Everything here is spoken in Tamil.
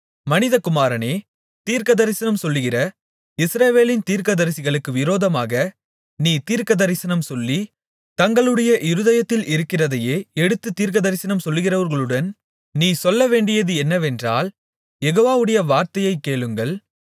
மனிதகுமாரனே தீர்க்கதரிசனம் சொல்லுகிற இஸ்ரவேலின் தீர்க்கதரிசிகளுக்கு விரோதமாக நீ தீர்க்கதரிசனம் சொல்லி தங்களுடைய இருதயத்தில் இருக்கிறதையே எடுத்துத் தீர்க்கதரிசனம் சொல்லுகிறவர்களுடன் நீ சொல்ல வேண்டியது என்னவென்றால் யெகோவாவுடைய வார்த்தையைக் கேளுங்கள்